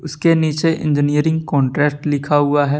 उसके नीचे engineering contract लिखा हुआ है।